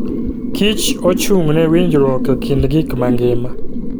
kich ochung'ne winjruok e kind gik mangima.